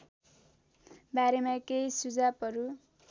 बारेमा केही सुझावहरू